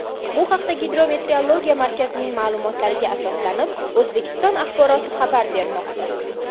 Bu haqda Gidrometreologiya markazining ma’lumotlariga asoslanib O‘zA xabar bermoqda .